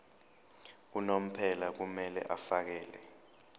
unomphela kumele afakele